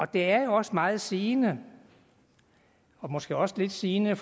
det er jo også meget sigende og måske også lidt sigende